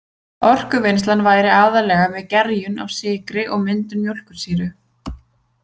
Orkuvinnslan væri aðallega með gerjun á sykri og myndun mjólkursýru.